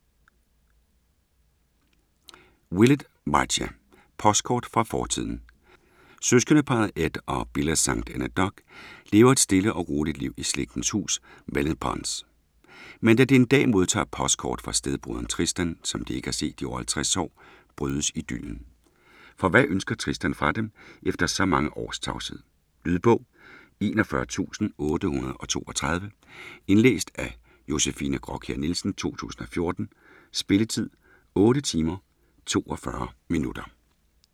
Willett, Marcia: Postkort fra fortiden Søskendeparret Ed og Billa St Enedoc lever et stille og roligt liv i slægtens hus Mellinpons. Men da de en dag modtager et postkort fra stedbroderen Tristan, som de ikke har set i over 50 år, brydes idyllen. For hvad ønsker Tristan fra dem, efter så mange års tavshed? Lydbog 41832 Indlæst af Josefine Graakjær Nielsen, 2014. Spilletid: 8 timer, 42 minutter.